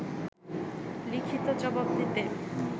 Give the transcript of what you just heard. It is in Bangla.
লিখিত জবাব দিতে